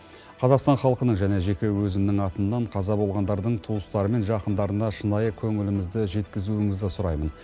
қазақстан халқының және жеке өзімнің атымнан қаза болғандардың туыстары мен жақындарына шынайы көңілімізді жеткізуіңізді сұраймын